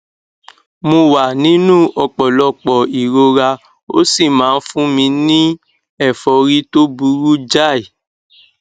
mo wà nínú ọpọlọpọ ìrora ó sì máa ń fún mi ní ẹfọrí tó burú jáì